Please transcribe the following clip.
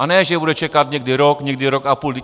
A ne že bude čekat někdy rok, někdy rok a půl.